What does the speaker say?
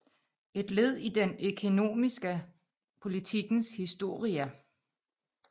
Et led i den ekonomiska politikens historia